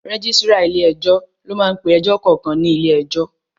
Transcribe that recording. Rẹ́gísírà ilé ẹjọ́ ló máá ń pe ẹjọ́ kankan ní ilé ẹjọ́